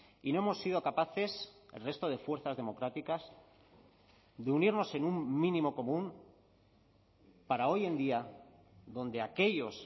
y no hemos sido capaces el resto de fuerzas democráticas de unirnos en un mínimo común para hoy en día donde aquellos